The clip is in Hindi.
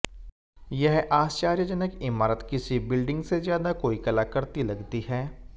यह आर्श्चयजनक इमारत किसी बिल्डिंग से ज्यादा कोई कलाकृति लगती है